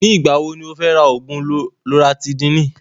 Ní ìgbà wo ní o fẹ́ rà oògùn lọratídííni?